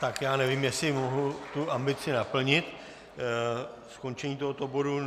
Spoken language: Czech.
Tak já nevím, jestli mohu tu ambici naplnit, skončení tohoto bodu.